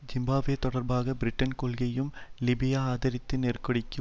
Zimbabwe தொடர்பாக பிரிட்டனின் கொள்கையையும் லிபியா ஆதரித்தது நெருக்கடிக்கு